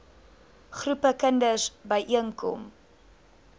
groepe kinders byeenkom